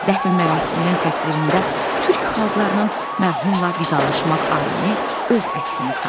Dəfn mərasiminin təsvirində türk xalqlarının mərhumla vidalaşmaq ayini öz əksini tapıb.